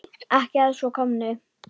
Ekki að svo komnu.